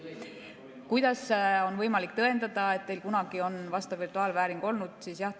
Kuidas on võimalik tõendada, et teil kunagi on vastav virtuaalvääring olnud?